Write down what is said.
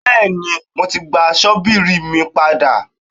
Bẹ́ẹ̀ni, mo ti gba ṣọ́bìrì mi padà.